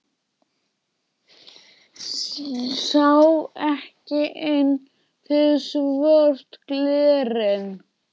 Sá ekki inn fyrir svört glerin.